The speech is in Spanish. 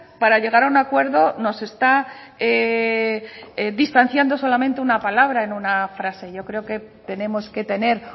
para llegar a un acuerdo nos está distanciando solamente una palabra en una frase yo creo que tenemos que tener